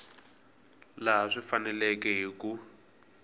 laha swi faneleke hi ku